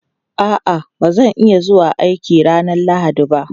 A'a, ba zan iya zuwa aiki ranar Lahadi ba.